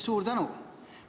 Suur tänu!